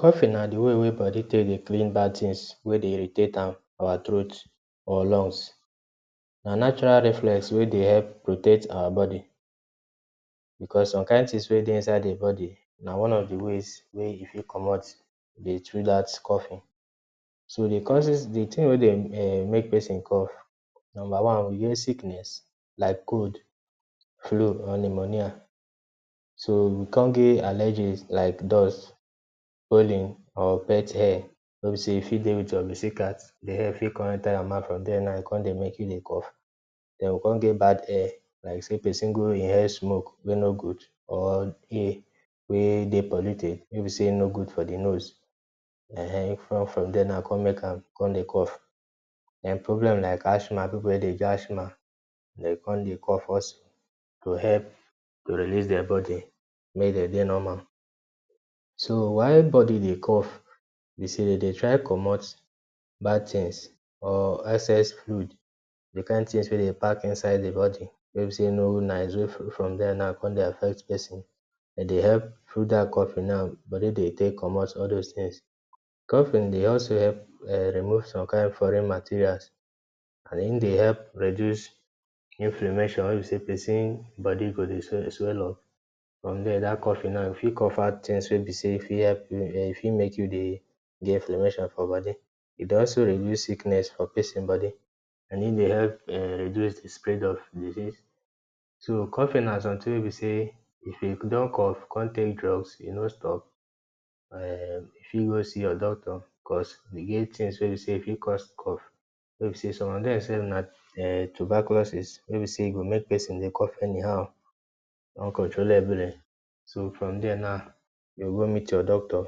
Coughing na d way wey body Dey clean bad things wey Dey irritate am for awa throat or lungs na natural reflex wey Dey help protect our body because some kind things wey dey inside the body na one of d way wey e fit commot Dey through dat coughing, so d causes the tin wey Dey um make person cough numba one we get sickness like cold, flu or pneumonia so we con get allergies like dust and pet hair wey b say u fit Dey with your pussy cat den d hair go con enter your mouth den now we con get bad air like say persin go inhale smoke wey no good wey Dey polluted wey b say e no Dey good for d nose um from there e go con Dey cough dem problem like asthma people wey Dey asthma con Dey cough also to help relieve their body wey Dem get normal, so why body Dey cough be say dey dem try commot bad things or excess food things wey Dey park inside d body con Dey affect person, from there through dat coughing now body go Dey commot all those things, coughing dey also help remove some kind foreign materials and in dey help reduce inflammation wey Dey make person body dey swell up from there dat coughing now e fit cover things wey go fit make u dey influential for body e dey also reduce sickness for person body and hin dey also reduce d spread of disease. So coughing na something wey be say if u din cough con take drugs e no stop u fit go see your doctor cause e get things wey fit cause cough, some of dem sef na um tuberculosis wey be say e Dey make person Dey cough anyhow uncontrollably ,so from there now u go go meet your doctor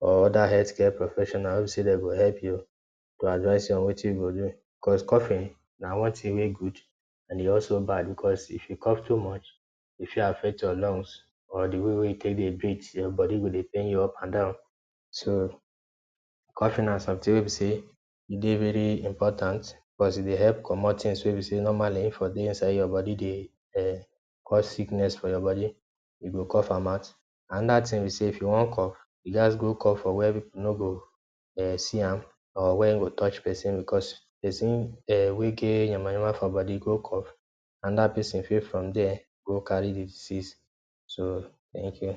or other health care professionals say dem go help u advice you on Wetin to do, cause coughing na something wey good and e also bad cause if u cough too much e fit affect your lungs or d wey were u dey breathe your body go Dey pain u up and down, so coughing na something wey b say e dey really important cause e dey commot things inside your body wey normally dey cause sickness for your body u go cough am out, anoda thing b say if u wan cough you gaz go cough for where people no go see am or where touch person cause person wey get Yama yama for body cough anoda persin from there fit go carry d disease, so thank you.